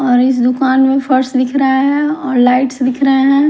और इस दुकान में फर्स दिख रहा है और लाइट्स दिख रहा है।